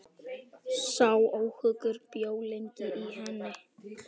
Sá óhugur bjó lengi í henni.